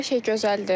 Hər şey gözəldir.